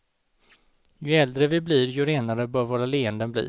Ju äldre vi blir, ju renare bör våra leenden bli.